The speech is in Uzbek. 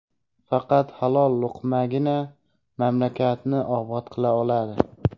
faqat halol luqmagina mamlakatni obod qila oladi.